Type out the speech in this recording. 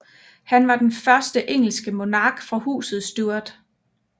Han var den første engelske monark fra Huset Stuart